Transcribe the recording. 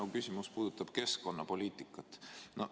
Minu küsimus puudutab keskkonnapoliitikat.